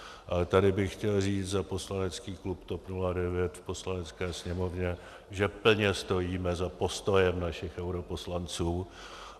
Ale tady bych chtěl říct za poslanecký klub TOP 09 v Poslanecké sněmovně, že plně stojíme za postojem našich europoslanců.